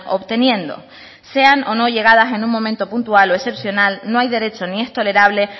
obteniendo sean o no llegadas en un momento puntual o excepcional no hay derecho ni es tolerable